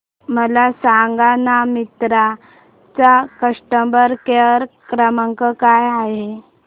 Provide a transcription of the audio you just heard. मला सांगाना मिंत्रा चा कस्टमर केअर क्रमांक काय आहे